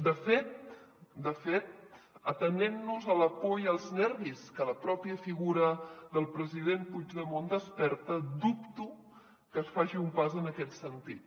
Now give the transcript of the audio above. de fet de fet atenent nos a la por i als nervis que la pròpia figura del president puigdemont desperta dubto que es faci un pas en aquest sentit